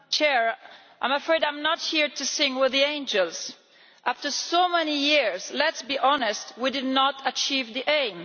Madam President, I am afraid I am not here to sing with the angels. After so many years let's be honest we did not achieve the aim.